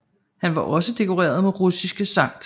Han var også dekoreret med Russiske Skt